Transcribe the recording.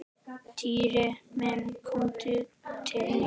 Týri minn komdu til mín.